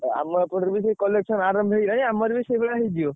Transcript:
ଅ ଆମ ଏପଟେ ବି ସେଇ collection ଆରମ୍ଭ ହେଇଗଲାଣି ଆମର ବି ସେଇଭଳିଆ ହେଇଯିବ।